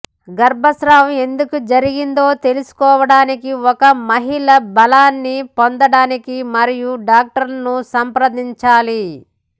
గర్భస్రావం ఎందుకు జరిగిందో తెలుసుకోవడానికి ఒక మహిళ బలాన్ని పొందటానికి మరియు డాక్టర్ను సంప్రదించాలి